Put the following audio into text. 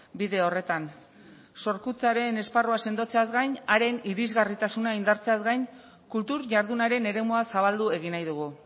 bide horretan sorkuntzaren esparrua sendotzeaz gain haren irisgarritasuna indartzeaz gain kultur jardunaren eremua zabaldu egin nahi dugu